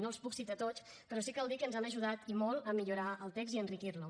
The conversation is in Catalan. no els puc citar tots però sí cal dir que ens han ajudat i molt a millorar el text i a enriquir lo